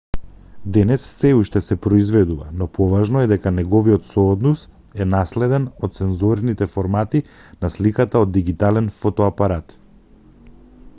денес сè уште се произведува но поважно е дека неговиот сооднос е наследен од сензорните формати на сликата од дигитален фотоапарат